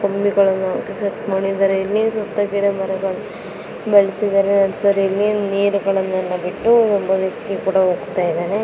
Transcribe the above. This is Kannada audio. ಸುತ ಗಿಡಮರಗಳು ಬೆಳಸಿ್ದಾರೆ ನರ್ಸರಿಯಲ್ಲಿ ನೀರ್ ಗಳನ್ನೂ ಬಿಟ್ಟು ಒಬ್ಬ ವ್ಯಕ್ತಿ ಕೂಡಾ ಹೊರಟಿದ್ದಾನೆ.